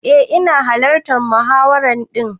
Eh ina hallartan muhawara din.